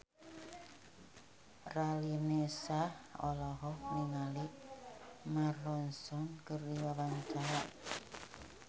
Raline Shah olohok ningali Mark Ronson keur diwawancara